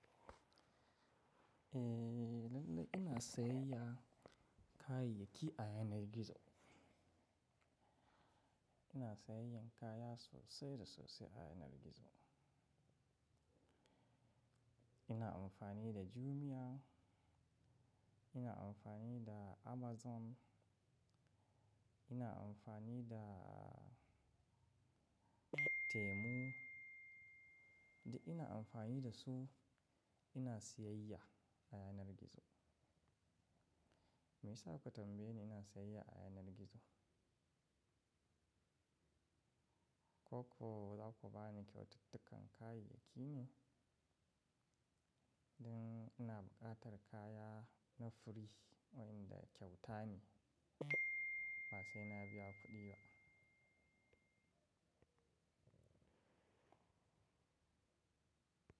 Eh, lallai ina sayayya kayayyaki a yanar gizo. Ina sayayyan kaya sosai da sosai a yanar gizo. Ina amfani da Jumia, ina amfani da Amazon, ina amfani da Temu, da ina amfani da su ina siyayya a yanar gizo. Me yasa kuka tambaye ni ina sayayya a yanar gizo? Ko ko za ku ba ni kyaututtukan kayayyaki ne? Don ina buƙatar kaya na fure waɗanda kyauta ne. Ba sai na biya kuɗi ba.